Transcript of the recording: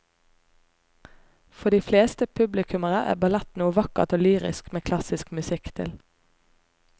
For de fleste publikummere er ballett noe vakkert og lyrisk med klassisk musikk til.